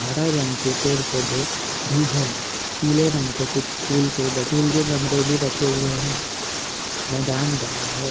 हरे रंग के पेड़ पौधे भी है। पीले रंग के कुछ फूल के फूल के गमलें भी रखे हुए है। मैदान बड़ा है।